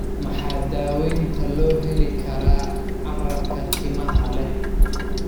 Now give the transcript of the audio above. Maxaa daawaynta loo heli karaa carrabka timaha leh?